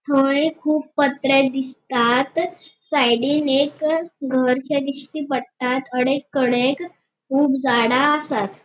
थंय कुब पत्रे दिसतात साइडीन एक घरशे दिश्टी पडटा अडेक कडेक कुब झाड़ा आसात.